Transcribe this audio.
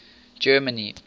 germany